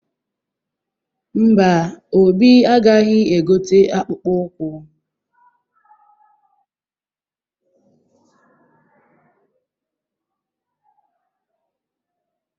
Mba, Obi agaghị egote akpụkpọ ụkwụ?